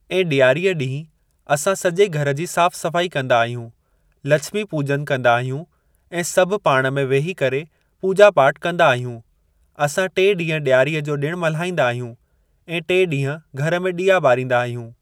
ऐं डि॒यारीअ ॾींहुं असां सॼे घर जी साफ़ सफ़ाइ कंदा आहियूं लछमी पूॼन कंदा आहियूं ऐं सभु पाण में वेही करे पूॼा पाठ कंदा आहियूं असां टे ॾींहं डि॒यारीअ ॼो ॾिणु मल्हाईंदा आहियूं टे ॾींहं घर में ॾीया ॿारींदा आहियूं।